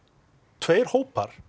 tveir hópar